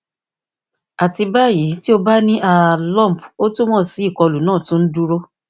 ati bayi ti o ba ni a lump o tumọ si ikolu naa tun n duro